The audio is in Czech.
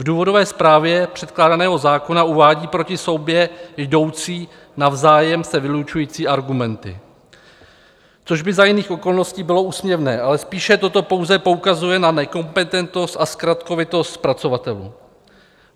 V důvodové zprávě předkládaného zákona uvádí proti sobě jdoucí navzájem se vylučující argumenty, což by za jiných okolností bylo úsměvné, ale spíše toto pouze poukazuje na nekompetentnost a zkratkovitost zpracovatelů.